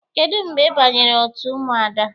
Kedụ mgbe ị banyere otu Ụmụada?